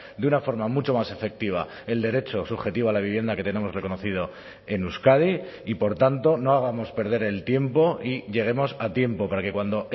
de una forma mucho más efectiva el derecho subjetivo a la vivienda que tenemos reconocido en euskadi y por tanto no hagamos perder el tiempo y lleguemos a tiempo para que cuando